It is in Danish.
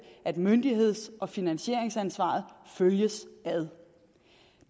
at myndigheds og finansieringsansvaret følges ad